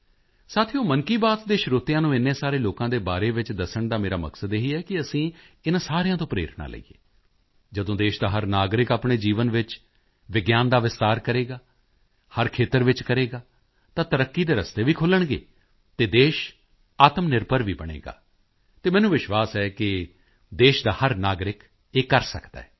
ਸਾਥੀਓ ਮਨ ਕੀ ਬਾਤ ਦੇ ਸਰੋਤਿਆਂ ਨੂੰ ਐਨੇ ਸਾਰੇ ਲੋਕਾਂ ਦੇ ਬਾਰੇ ਵਿੱਚ ਦੱਸਣ ਦਾ ਮੇਰਾ ਮਕਸਦ ਇਹੀ ਹੈ ਕਿ ਅਸੀਂ ਇਨ੍ਹਾਂ ਸਾਰਿਆਂ ਤੋਂ ਪ੍ਰੇਰਣਾ ਲਈਏ ਜਦੋਂ ਦੇਸ਼ ਦਾ ਹਰ ਨਾਗਰਿਕ ਆਪਣੇ ਜੀਵਨ ਵਿੱਚ ਵਿਗਿਆਨ ਦਾ ਵਿਸਤਾਰ ਕਰੇਗਾ ਹਰ ਖੇਤਰ ਵਿੱਚ ਕਰੇਗਾ ਤਾਂ ਤਰੱਕੀ ਦੇ ਰਸਤੇ ਵੀ ਖੁੱਲ੍ਹਣਗੇ ਅਤੇ ਦੇਸ਼ ਆਤਮਨਿਰਭਰ ਵੀ ਬਣੇਗਾ ਅਤੇ ਮੈਨੂੰ ਵਿਸ਼ਵਾਸ ਹੈ ਕਿ ਇਹ ਦੇਸ਼ ਦਾ ਹਰ ਨਾਗਰਿਕ ਕਰ ਸਕਦਾ ਹੈ